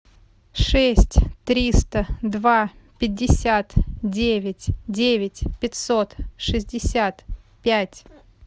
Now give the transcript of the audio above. шесть триста два пятьдесят девять девять пятьсот шестьдесят пять